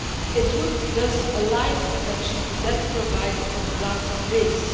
It would thus align the protection to that provided on the grounds of race.